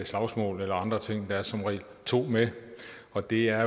slagsmål eller andre ting der er som regel to med og det er